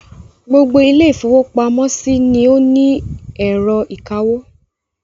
Gbogbo ilé-ìfowópamọ́sí ni ó ní ẹ̀rọ ìkawó.